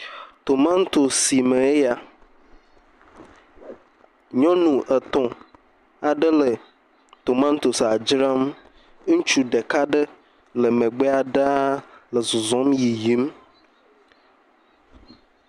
Tomatosi sime ye ya. Nyɔnu etɔ aɖe le tomatosia dzram. Ŋutsu ɖeka ɖe le megbea ɖa nɔ zɔzɔm yiyim.